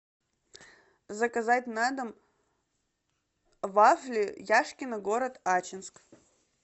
заказать на дом вафли яшкино город ачинск